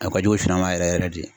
A ka jugu sɛnɛma yɛrɛ yɛrɛ de.